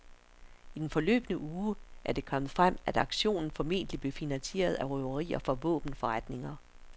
I den forløbne uge er det kommet frem, at aktionen formentlig blev finansieriet af røverier fra våbenforretninger.